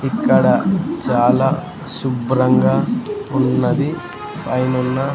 ఇక్కడ చాలా శుభ్రంగా ఉన్నది పైనున్న--